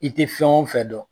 I te fɛn o fɛ dɔn